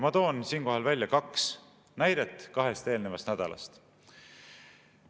Ma toon siinkohal välja kaks näidet kahest eelmisest nädalast.